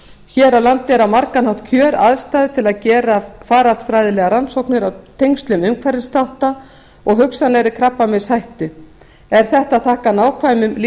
hér á landi eru á margan hátt kjöraðstæður til að gera faraldsfræðilegar rannsóknir á tengslum umhverfisþátta og hugsanlegri krabbameinshættu er þetta að þakka nákvæmum